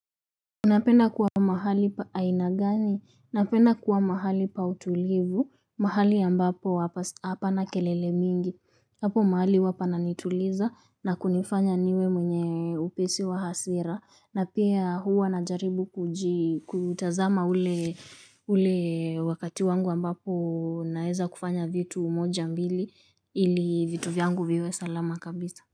Unapenda kuwa mahali pa aina gani, napenda kuwa mahali pa utulivu, mahali ambapo hapana kelele mingi, hapo mahali huwa pananituliza na kunifanya niwe mwenye upesi wa hasira, na pia huwa najaribu kutazama ule ule wakati wangu ambapo naeza kufanya vitu moja mbili ili vitu vyangu viwe salama kabisa.